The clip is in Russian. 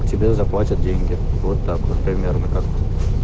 тебе заплатят деньги вот так вот примерно так